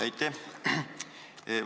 Aitäh!